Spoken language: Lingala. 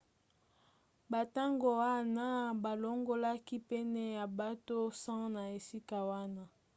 na ntango wana balongolaki pene ya bato 100 na esika wana